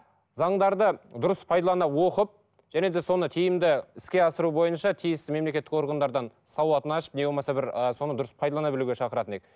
заңдарды дұрыс пайдалана оқып және де соны тиімді іске асыру бойынша тиісті мемлекттік органдардан сауатын ашып не болмаса бір ы соны дұрыс пайдалана білуге шақыратын едік